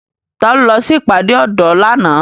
Ta lo lọ sí ìpàdé ọ̀dọ́ lánàá?